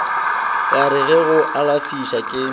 ka re go alafša ke